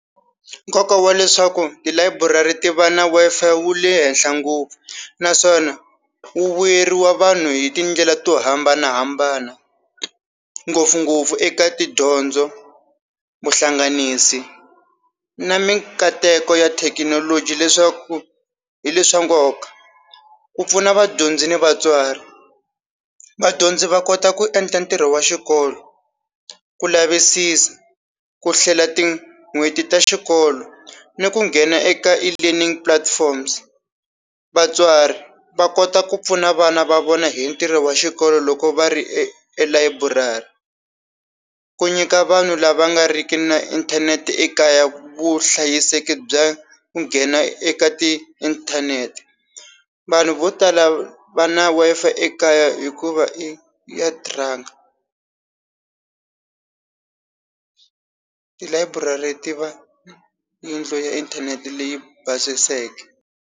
Nkoka wa leswaku tilayiburari ti va na Wi-FIi wu le henhla ngopfu naswona wu vuyeriwa vanhu hi tindlela to hambanahambana ngopfungopfu eka tidyondzo vuhlanganisi na minkateko ya thekinoloji leswaku hi le swa nkoka. Ku pfuna vadyondzi ni vatswari vadyondzi va kota ku endla ntirho wa xikolo ku lavisisa ku hlela tin'hweti ta xikolo ni ku nghena eka e-learning platforms, vatswari va kota ku pfuna vana va vona hi ntirho wa xikolo loko va ri elayiburari ku nyika vanhu lava nga riki na inthanete ekaya vuhlayiseki bya ku nghena eka tiinthanete vanhu vo tala va na Wi-Fi ekaya hikuva i ya tilayiburari ti va yindlu ya inthanete leyi basiseke.